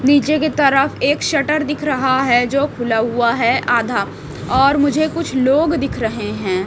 नीचे की तरफ एक शटर दिख रहा है जो खुला हुआ है आधा और मुझे कुछ लोग दिख रहे हैं।